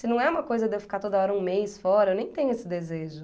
Se não é uma coisa de eu ficar toda hora um mês fora, eu nem tenho esse desejo.